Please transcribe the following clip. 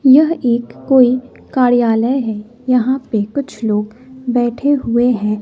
यह एक कोई कार्यालय है यहां पे कुछ लोग बैठे हुए हैं।